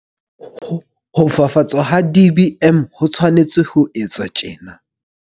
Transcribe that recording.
Ho fafatswa ha DBM ho tshwanetse ho etswa tjena.